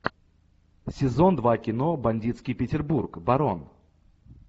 сезон два кино бандитский петербург барон